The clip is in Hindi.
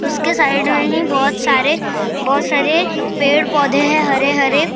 उसके साइड में ही बहुत सारे बहुत सारे पेड़ पौधे हैं हरे-हरे।